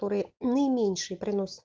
который не меньший принос